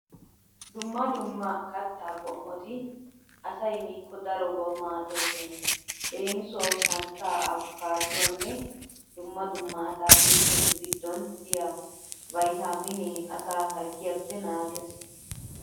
Dumma dumma kattaa qommoti asay miikko darobawu maaddoosona. Leemisuwawu santtaa, afikaaduwanne dumma dumma ataakilttetu giddon diya viitaaminee asaa harggiyappe naagees.